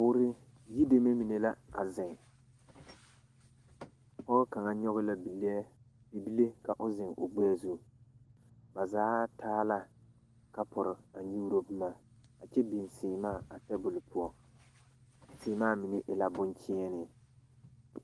Boore yideme mine la a zeŋ pɔɡe kaŋa nyɔɡe la bilɛɛ ka o zeŋ o ɡbɛɛ zu ba zaa taa la kapuri a nyuuro boma a kyɛ biŋ seɛmaa a tabuli zu a seɛmaa mine e la boŋkyeene.